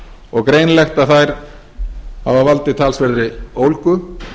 og greinilegt að þær hafa valdið talsverðri ólgu